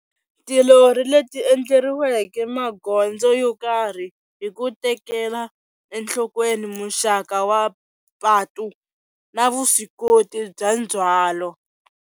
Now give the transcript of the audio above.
Tilori leti endleriweke magondzo yo karhi hi ku tekela enhlokweni muxaka wa patu na vuswikoti bya ndzhwalo.